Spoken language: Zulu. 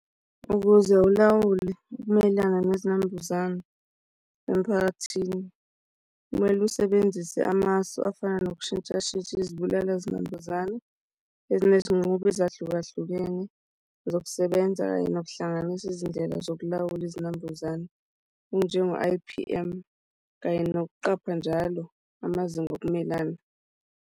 Ukuze ulawule ukumelana nezinambuzane emiphakathini, kumele usebenzise amasu afana nokushintshashintsha izibulala zinambuzane ezinezinqubo ezahlukahlukene zokusebenza, kanye nokuhlanganisa izindlela zokulawula izinambuzane onjengo-I_P_M kanye nokuqapha njalo amazinga okumelana.